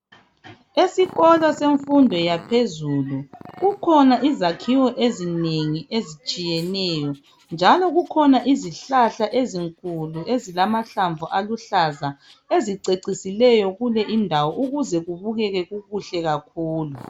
Esikolo sefundo yaphezulu kukhona izakhiwo ezinengi ezitshiyeneyo njalo kukhona izihlahla ezinkulu ezilamahlamvu aluhlaza ezicecisileyo ukuze kubukeke kukuhle kakhulu.